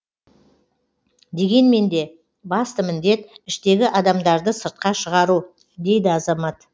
дегенмен де басты міндет іштегі адамдарды сыртқа шығару дейді азамат